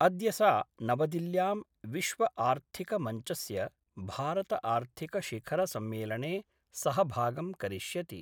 अद्य सा नवदिल्ल्यां विश्वआर्थिक मञ्चस्य भारतआर्थिकशिखरसम्मेलने सहभागं करिष्यति।